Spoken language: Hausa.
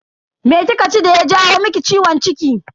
Me kika ci daya jawo maki ciwon ciki?